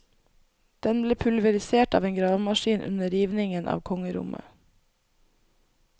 Den ble pulverisert av en gravemaskin under rivningen av kongerommet.